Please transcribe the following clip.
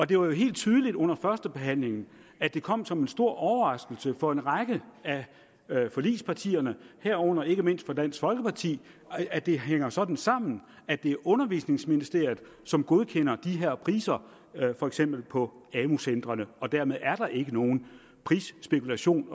det var jo helt tydeligt under førstebehandlingen at det kom som en stor overraskelse for en række af forligspartierne herunder ikke mindst for dansk folkeparti at det hænger sådan sammen at det er undervisningsministeriet som godkender de her priser for eksempel på amu centrene dermed er der ikke nogen prisspekulation